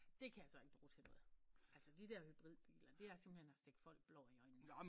Det kan jeg så ikke bruge til noget altså de der hybridbiler det er simpelthen at stikke folk blår i øjnene